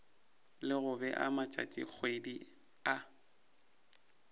le go bea matšatšikgwedi a